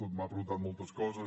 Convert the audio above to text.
m’ha preguntat moltes coses